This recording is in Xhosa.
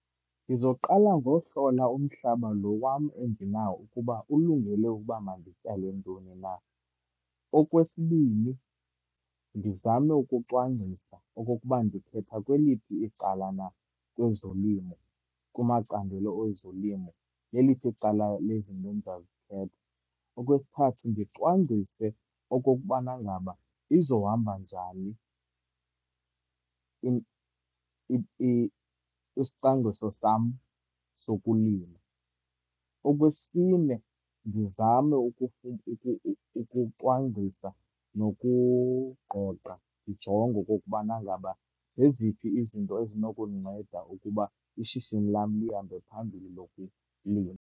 Ndizoqala ngohlola umhlaba lo wam endinawo ukuba ulungele uba mandityale ntoni na. Okwesibini, ndizame ukucwangcisa okokuba ndikhetha kweliphi icala na kwezolimo, kumacandelo ezolimo. Leliphi icala lezinto endizawuzikhetha. Okwesithathu, ndicwangcise okokubana ngaba izohamba njani isicwangciso sam sokulima. Okwesine, ndizame ukucwangcisa nokugqogqa ndijonge okokubana ngaba zeziphi izinto ezinokundinceda ukuba ishishini lam lihambe phambili lokulima.